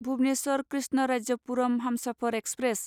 Bhubaneswar Krishnarajapuram Humsafar express